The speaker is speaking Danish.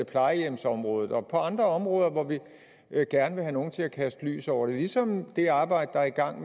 plejehjemsområdet og på andre områder hvor vi gerne vil have nogle til at kaste lys over det og ligesom det arbejde der er i gang